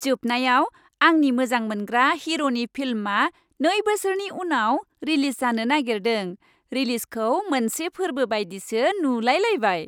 जोबनायाव, आंनि मोजांमोनग्रा हिर'नि फिल्मआ नै बोसोरनि उनाव रिलिज जानो नागेरदों, रिलिजखौ मोनसे फोरबो बायदिसो नुलाय लायबाय।